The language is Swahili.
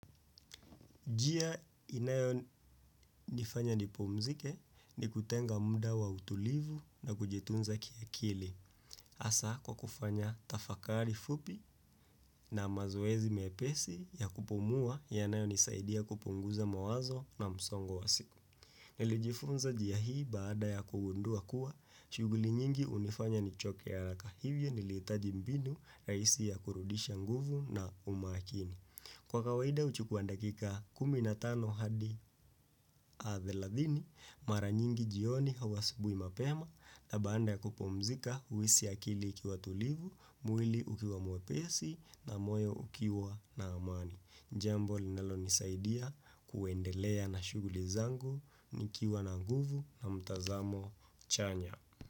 Njia inayo nifanya nipumzike ni kutenga muda wa utulivu na kujitunza kia akili. Hasa kwa kufanya tafakari fupi na mazoezi mepesi ya kupumua yanayo nisaidia kupunguza mawazo na msongo wa siku. Nilijifunza njia hii baada ya kugundua kuwa, shughuli nyingi hunifanya nichoke haraka hivyo nilihitaji mbinu rahisi ya kurudisha nguvu na umakini. Kwa kawaida huchukua dakika 15 hadi thelathini, mara nyingi jioni au asubui mapema, na baada ya kupumzika, huisi akili ikiwa tulivu, mwili ukiwa mwepesi, na moyo ukiwa na amani. Jambo linalo nisaidia kuendelea na shughuli zangu, nikiwa na nguvu na mtazamo chanya.